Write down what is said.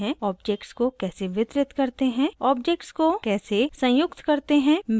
* objects को कैसे संयुक्त करते हैं मिलाते हैं घटाते हैं और प्रतिच्छेदित करते हैं